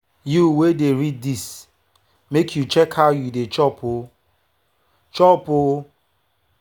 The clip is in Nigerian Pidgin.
you wey dey read this make you dey check how you dey chop o! chop o!